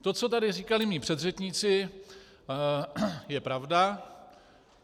To, co tady říkali mí předřečníci, je pravda.